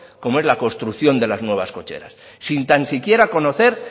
como es la construcción de las nuevas cocheras sin tan siquiera conocer